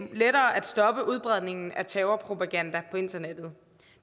lettere at stoppe udbredelsen af terrorpropaganda på internettet